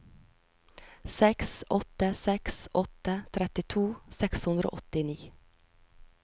seks åtte seks åtte trettito seks hundre og åttini